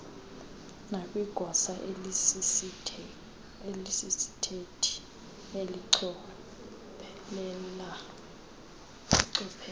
nakwigosa elisisithethi elichophela